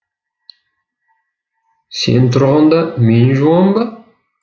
сен тұрғанда мен жуам ба